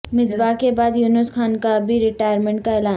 مصباح کے بعد یونس خان کا بھی ریٹائرمنٹ کا اعلان